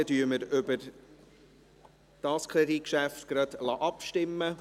Dann lassen wir über dieses Kreditgeschäft gleich abstimmen.